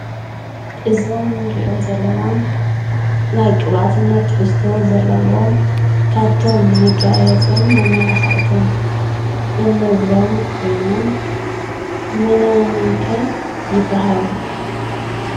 እዞም ንሪኦም ዘለና ናይ ቅብኣትነት ትሕዝቶ ዘለዎም ካብቶም መጋየፅን መመላካዕትን እንብሎም ኮይኖም መነ መን ከ ይበሃሉ ?